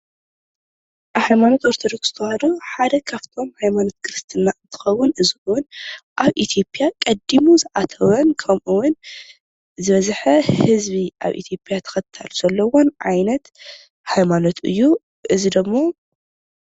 ሃይማኖት ኦርቶዶክስ ተዋህዶ ሓደ ካብቶም ሃይማኖት ክርስትና እንትኸውን እዚ ውን ኣብ ኢትዮጵያ ቀዲሙ ዝኣተወ ን ከምኡውን ዝበዝሐ ህዝቢ ኣብ ኢትዮጵያ ተኸታሊ ዘለዎን ዓይነት ሃይማኖት እዩ እዚ ዶሞ።